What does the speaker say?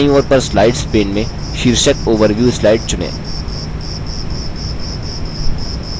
बायीं ओर पर slides pane में शीर्षक overview slides चुनें